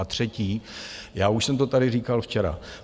A třetí, já už jsem to tady říkal včera.